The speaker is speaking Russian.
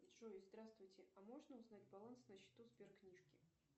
джой здравствуйте а можно узнать баланс на счету сберкнижки